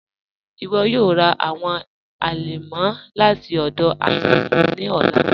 Iwọ yọọ rà awọn alẹmọ lati ọdọ Adamu ni ọlà.